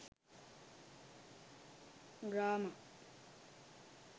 grama